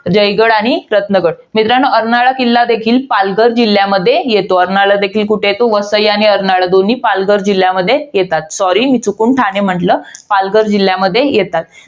जयगड आणि रत्नगड. मित्रांनो, अर्नाळा किल्ला देखील पालघर जिल्ह्यामध्ये येतो. अर्नाळा देखील कुठे येतो? वसई आणि अर्नाळा दोन्ही पालघर जिल्ह्यामध्ये येतात. sorry मी चुकून ठाणे म्हंटल. पालघर जिल्ह्यामध्ये येतात.